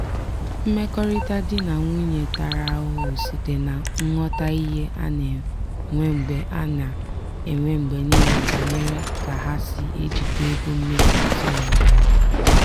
mmekọrịta di na nwunye tara ahụhụ site na nghọtahie a na-enwe mgbe a na-enwe mgbe niile banyere ka ha si ejikwa ego mmefu ezinụlọ.